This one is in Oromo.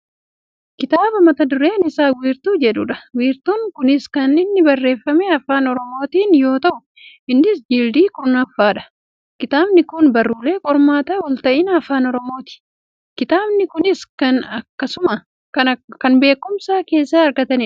Kitaaba mata dureen isaa "wiirtuu " jedhudha. Wiirtuun kunis kan inni barreeffame afaan oromiitin yoo ta'u innis jildii kurnaffaadha. Kitaabni kun Barruulee qormaata wal ta'ina afaana oromooti. Kitaabni kunis kan beekkumsa keessaa argatanidha.